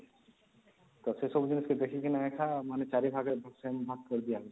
ସେ ସବୁ ଜିନିଷ ଦେଖିକିନା ଆକ ମାନେ ୪ ଭାଗରେ same ଭାଗ କରିଦିଆ ହଉଛି